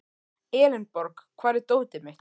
Elenborg, hvar er dótið mitt?